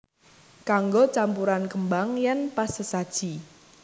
Kanggo campuran kembang yen pas sesaji